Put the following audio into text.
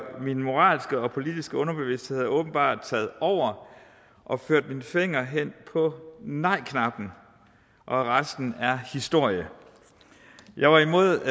min moralske og politiske underbevidsthed havde åbenbart taget over og ført min finger hen på nejknappen og resten er historie jeg var imod